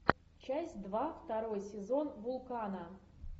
часть два второй сезон вулкана